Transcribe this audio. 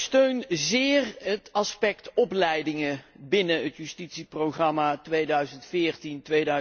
Ik steun zeer het aspect opleidingen binnen het justitieprogramma 2014